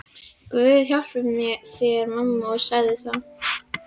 Guð hjálpi þér mamma, sagði þá